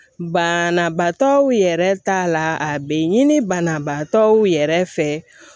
Banabaatɔw yɛrɛ t'a la a be ɲini banabaatɔw yɛrɛ fɛ